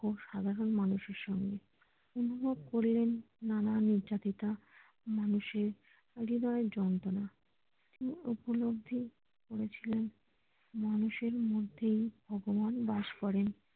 ও সাধারণ মানুষ এর সঙ্গে অনুভব করলেন নানা নির্যাতিতা মানুষের পরিবাহে যন্ত্রনা তিনি উপলব্ধি করেছিলেন মানুষের মধ্যেই ভগবান বাস করেন